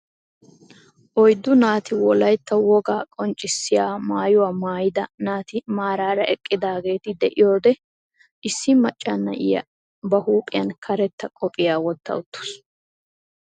Oyddu naati wollaytta wogaa qonccisiyaa maayuwaa maayida naati maarara eqqidaageti de'iyoode issi macca na'iyaa ba huuphphiyaa karettaa qophphiyaa wotta uttaasu.